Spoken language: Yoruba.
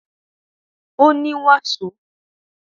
Ó ní wàsó